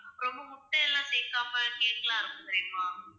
அப்பறம் முட்டை எல்லாம் சேக்காம cake லாம் இருக்கும் தெரியுமா?